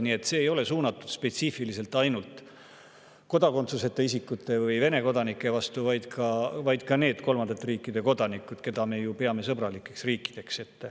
Nii et see ei ole suunatud spetsiifiliselt ainult kodakondsuseta isikute või Vene kodanike vastu, vaid ka nende kolmandate riikide kodanike, keda me ju peame sõbralikeks riikideks.